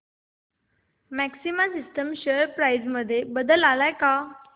maxima Systems share price मध्ये बदल आलाय का